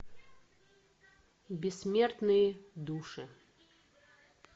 бессмертные души